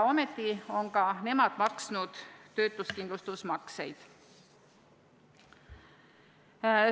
Ometi on ka nemad maksnud töötuskindlustusmakseid.